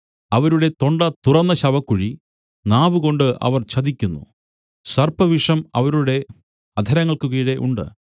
അവരുടെ തൊണ്ട തുറന്ന ശവക്കുഴി നാവുകൊണ്ട് അവർ ചതിക്കുന്നു സർപ്പവിഷം അവരുടെ അധരങ്ങൾക്ക് കീഴെ ഉണ്ട്